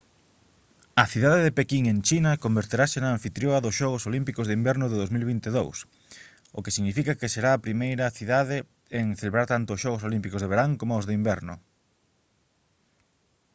a cidade de pequín en china converterase na anfitrioa dos xogos olímpicos de inverno de 2022 o que significa que será a primeira cidade en celebrar tanto os xogos olímpicos de verán coma os de inverno